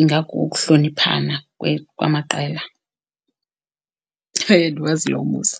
ingakukuhloniphana kwamaqela. Hayi andiwazi lo umbuzo.